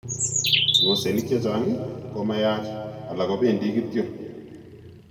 Ng'osenik chechang' koma yaach alak kobendii kityok